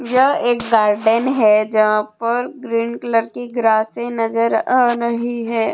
यह एक गार्डन है जहां पर ग्रीन कलर की ग्रासे नजर आ रही है।